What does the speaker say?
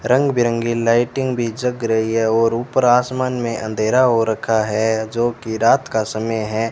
रंग बिरंगी लाइटिंग भी जग रही है और ऊपर आसमान में अंधेरा हो रखा है जो की रात का समय है।